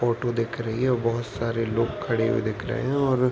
photo दिख रही है बोहोत सारे लोग खड़े हुए दिख रहे हैं और --